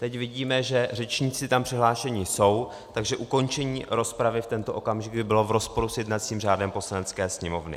Teď vidíme, že řečníci tam přihlášeni jsou, takže ukončení rozpravy v tento okamžik by bylo v rozporu s jednacím řádem Poslanecké sněmovny.